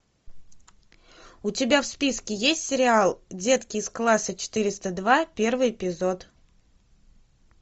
у тебя в списке есть сериал детки из класса четыреста два первый эпизод